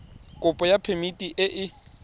kopo ya phemiti e e